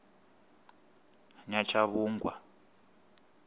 nyatshavhungwa